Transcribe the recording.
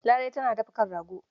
Larai tana dafa kan rago.